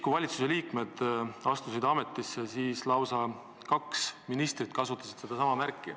Kui valitsusliikmed ametisse astusid, siis lausa kaks ministrit kasutasid sedasama märki.